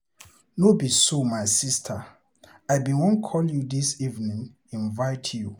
No be so my sister, I bin wan call you dis evening invite you.